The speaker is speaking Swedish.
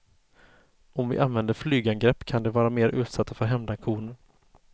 Om vi använder flygangrepp kan de vara mer utsatta för hämndaktioner.